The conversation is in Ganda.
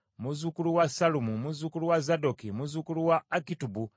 muzzukulu wa Sallumu, muzzukulu wa Zadooki, muzzukulu wa Akitubu,